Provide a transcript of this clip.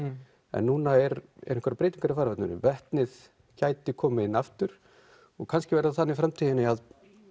en núna eru einhverjar breytingar í farveginum þar vetnið gæti komið inn aftur og kannski verður það þannig í framtíðinni að